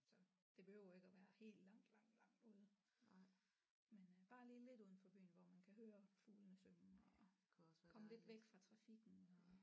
Så det behøver ikke at være helt langt langt langt ude men øh bare lige lidt uden for byen hvor man kan høre fuglene synge og komme lidt væk fra trafikken og